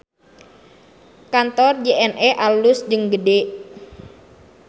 Kantor JNE alus jeung gede